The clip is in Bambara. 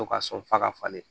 To ka sɔn f'a ka falen